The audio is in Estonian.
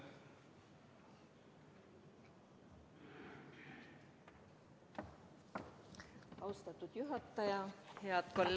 Austatud juhataja!